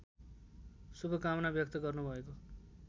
शुभकामना व्यक्त गर्नुभएको